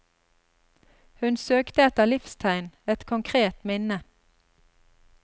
Hun søkte etter livstegn, et konkret minne.